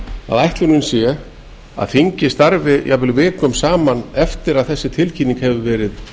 að ætlunin sé að þingið starfi jafnvel vikum saman eftir að þessi tilkynning hefur verið